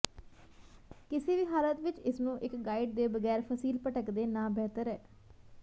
ਕਿਸੇ ਵੀ ਹਾਲਤ ਵਿੱਚ ਇਸ ਨੂੰ ਇੱਕ ਗਾਈਡ ਦੇ ਬਗੈਰ ਫ਼ਸੀਲ ਭਟਕਦੇ ਨਾ ਬਿਹਤਰ ਹੈ